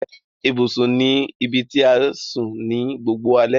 Ibùsùn ní ibití a sùn ní gbogboo alè.